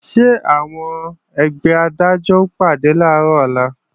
Ṣé àwọn ẹgbẹ́ Adájọ́ ó pàdé làárọ̀ ọ̀la?